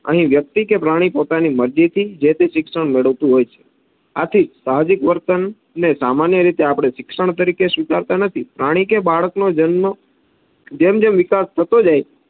અહી વ્યક્તિ કે પ્રાણી પોતાની મરજીથી જેતે શિક્ષણ મેળવતું હોય છે. આથી સાહજિક વર્તનને સામાન્ય રીતે આપણે શિક્ષણ તરીકે સ્વીકારતા નથી. પ્રાણી કે બાળક નો જન્મ જેમ જેમ વિકાસ થતો જાય